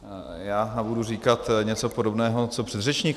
Já budu říkat něco podobného co předřečník.